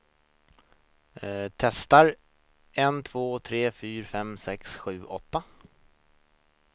Testar en två tre fyra fem sex sju åtta.